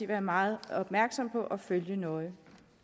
være meget opmærksomme på og følge nøje